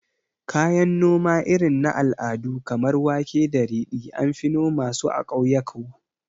Kayan noma irin na al'adu kamar wake da ridi, anfi noma su a ƙauyaku